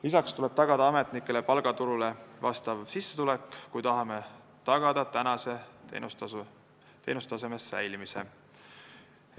Lisaks tuleb ametnikele tagada tööturul pakutavale palgale vastav sissetulek, kui me tahame tagada teenustaseme säilimise.